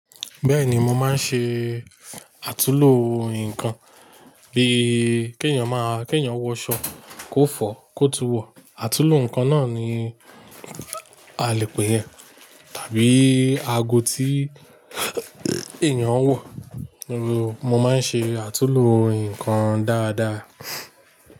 Bẹ́ẹ̀ni, mo máa ń ṣe àtúlo nǹkan bíi kí èèyàn máa, kí èèyàn wọ aṣọ kó fọ̀ kó tún wọ̀, àtúlo ǹkan náà ni a lè pè é, tàbí ago tí èèyàn ń wọ̀. Mo máa ń ṣe àtúlo ǹkan dáadáa.